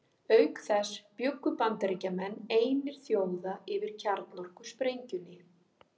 Auk þess bjuggu Bandaríkjamenn einir þjóða yfir kjarnorkusprengjunni.